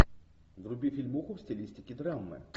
вруби фильмуху в стилистике драмы